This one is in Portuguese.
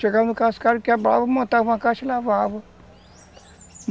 Chegava no cascara, quebrava, montava uma caixa e lavava.